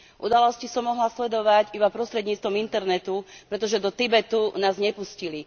Udalosti som mohla sledovať iba prostredníctvom internetu, pretože do Tibetu nás nepustili.